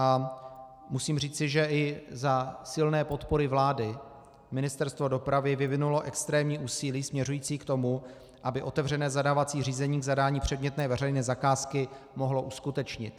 A musím říci, že i za silné podpory vlády Ministerstvo dopravy vyvinulo extrémní úsilí směřující k tomu, aby otevřené zadávací řízení k zadání předmětné veřejné zakázky mohlo uskutečnit.